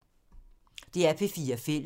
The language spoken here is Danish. DR P4 Fælles